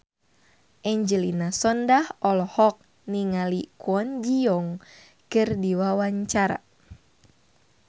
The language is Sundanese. Angelina Sondakh olohok ningali Kwon Ji Yong keur diwawancara